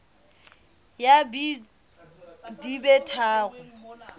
ya b di be tharo